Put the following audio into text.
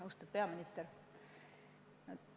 Austatud peaminister!